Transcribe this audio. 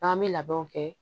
N'an bɛ labɛnw kɛ